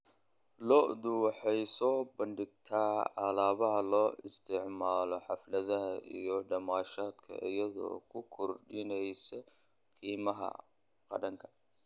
Lo'du waxay soo bandhigtaa alaabada loo isticmaalo xafladaha iyo damaashaadka, iyadoo ku kordhinaysa qiimaha dhaqanka.